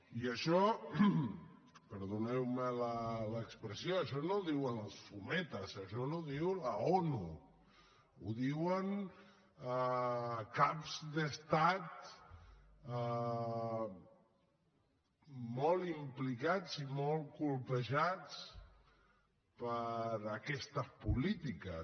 i això perdoneu me l’expressió no ho diuen els fumetes això ho diu l’onu ho diuen caps d’estat molt implicats i molt colpejats per aquestes polítiques